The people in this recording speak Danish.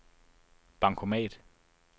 bankomat